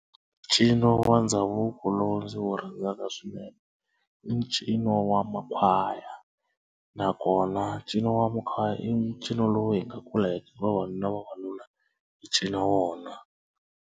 Ncino wa ndhavuko lowu ndzi wu rhandzaka swinene i ncino wa makhwaya nakona ncino wa makhwaya i ncino lowu hi nga kula vavanuna vavanuna va cina wona.